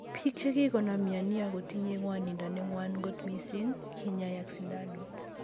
Pik chegikonam mioni po ago tinye ngwonindo ne ngwan kot mising kinyoe ak sindanut ap.